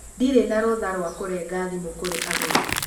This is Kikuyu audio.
Ndirĩ na rũtha rwa kũrenga thimũ kũrĩ agũri